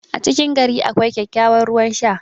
a cikin gari akwai kyakkyawan ruwan Sha